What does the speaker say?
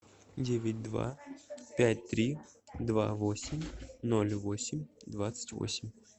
девять два пять три два восемь ноль восемь двадцать восемь